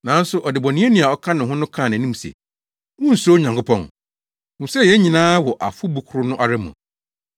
Nanso ɔdebɔneyɛni a ɔka ho no kaa nʼanim se, “Wunsuro Onyankopɔn? Hu sɛ yɛn nyinaa wɔ afɔbu koro no ara mu.